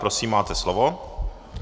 Prosím, máte slovo.